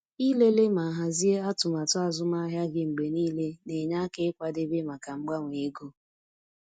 Ịlele ma hazie atụmatụ azụmahịa gị mgbe niile na-enye aka ịkwadebe maka mgbanwe ego.